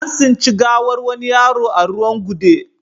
An tsinci gawar wani yaro a ruwan gude